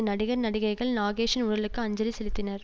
நடிகர் நடிகைகள் நாகேஷின் உடலுக்கு அஞ்சலி செலுத்தினர்